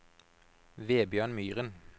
Vebjørn Myren